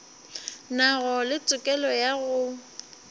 nago le tokelo ya go